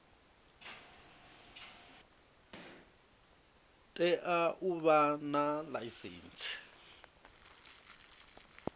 tea u vha na ḽaisentsi